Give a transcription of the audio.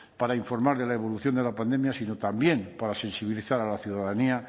para informar de la evolución de la pandemia sino también para sensibilizar a la ciudadanía